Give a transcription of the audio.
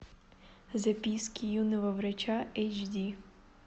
записки юного врача эйч ди